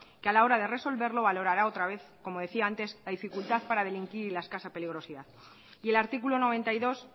que a la hora de resolverlo valorará otra vez como decía antes la dificultad para delinquir y la escasa peligrosidad y el artículo noventa y dos